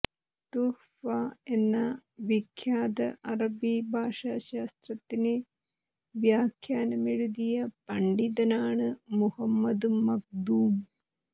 തുഹ്ഫ എന്ന വിഖ്യാത അറബി ഭാഷാശാസ്ത്രത്തിന് വ്യാഖ്യാനമെഴുതിയ പണ്ഡിതനാണ് മുഹമ്മദ് മഖ്ദൂം